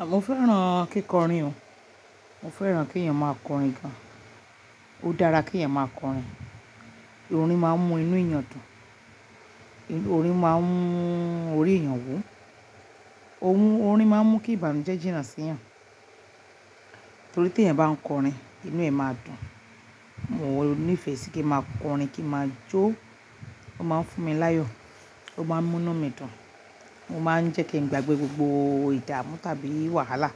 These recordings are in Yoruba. À, mo fẹ́ràn kíkọrin o. Mo fẹ́ràn kí ẹ̀yàn máa kọrin gan. Ó dára kí ẹ̀yàn máa kọrin. Orin máa ń mú inú ẹ̀yàn dùn, orin máa ń mú orí ènìyàn wú, ohun orin máa ń mú kí ìbànújẹ́ jìnnà sí ẹ̀yàn. Torí tí ẹ̀yàn bá ń kọrin inú ẹ̀ máa dùn. Mo nífẹ̀ẹ́ sí kí ń máa kọrin, kí ń máa jó, ó máa ń fún mi láyọ̀, ó máa ń mú inú mi dùn, ó máa ń jẹ́ kí ń gbàgbé gbogbo ìdààmú tàbí wàhálà,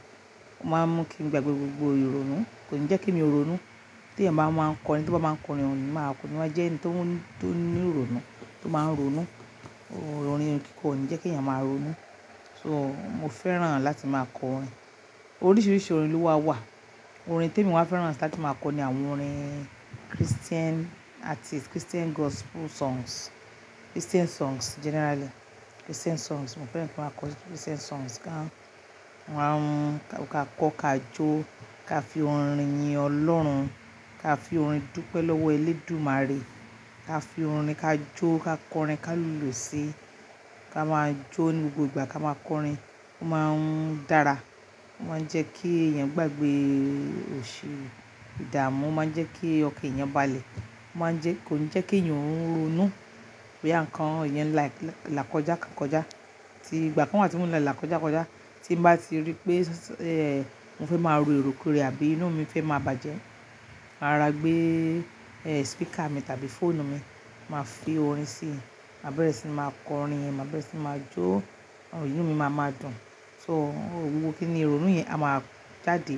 ó máa ń mú kí n gbàgbé gbogbo ìrònú, kò ní jẹ́ kí èmi ronú. Tí ẹ̀yàn bá máa ń kọrin, ẹni tó bá máa ń kọrin, kò ní máa, kò ní máa jẹ́ ẹni tó, tó ní ìrònú, tó máa ń ronú. Orin kọ ní jẹ́ kí ẹ̀yàn máa ronú. So mo fẹ́ràn láti máa kọrin. Oríṣiríṣi orin ló wà. Orin tí èmi máa fẹ́ràn láti máa kọ ni àwọn orin Christian artist, Christian gospel songs, Christian songs generally. Christian songs, mo fẹ́ràn kí n máa kọ Christian songs gan. Ka kọ́, ka jó, ka fi orin yin Ọlọ́run, ka fi orin dúpẹ́ lọ́wọ́ Elédùmarè, ka fi orin ka jó, ká kọrin, ká lùlù sí, ka máa jó ní gbogbo ìgbà, ka máa kọrin. Ó máa ń dára, ó máa ń jẹ́ kí ẹ̀yàn gbàgbé òṣì, ìdààmú, ó máa ń jẹ́ kí ọkàn ẹ̀yàn balẹ̀, ó máa ń jẹ́, kò ní jẹ́ kí ẹ̀yàn ronú. Bí nǹkan ẹ̀yàn là kọjá kán kọjá, tí ìgbà kan wà tí mo ń la ìlàkọjá kọjá, tí ń bá ti rí pé, mo fẹ́ máa ro èròkérò àbí inú mi fẹ́ máa bàjẹ́, màá rọra gbé, speaker mi tàbí fóònù mi, màá fi orin sí i, mà bẹ̀rẹ̀ sí máa kọrin yẹn, mà bẹ̀rẹ̀ sí máa jó, inú mi máa máa dùn. So gbogbo kínní ìrònú yẹn á máa jáde,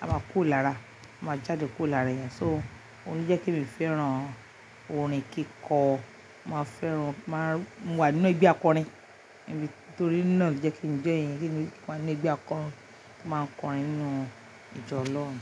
á máa kó lára, á máa jáde kó lára ẹ̀yàn. So òun ló jẹ́ kí èmi fẹ́ràn orin kíkọ. Mo máa fẹ́ràn, màá, mo wà nínú ẹgbẹ́ akọrin. Torí náà ló jẹ́ kí n join kí n wà nínú ẹgbẹ́ akọrin, máa ń kọrin nínú ìjọ Ọlọ́run.